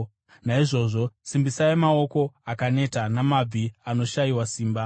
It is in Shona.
Naizvozvo, simbisai maoko akaneta namabvi anoshayiwa simba.